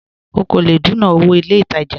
Ọ̀ kọ́ lẹ̀ dùnà owó ní ilẹ̀ ìtajà